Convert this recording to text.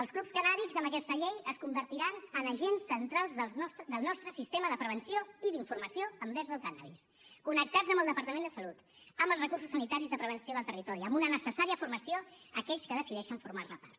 els clubs cannàbics amb aquesta llei es convertiran en agents centrals del nostre sistema de prevenció i d’informació envers el cànnabis connectats amb el departament de salut amb els recursos sanitaris de prevenció del territori amb una necessària formació a aquells que decideixen formar ne part